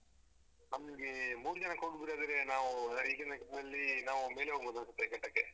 ನಮ್ಗೆ ಮೂರು ಜನಕ್ಕೆ ಹೋಗೂದಾದ್ರೆ ನಾವು ಈಗಿನ ಇದ್ರಲ್ಲಿ ನಾವು ಮೇಲೆ ಹೋಗ್ಬೋದು ಅನ್ಸುತ್ತೆ ಘಟ್ಟಕ್ಕೆ.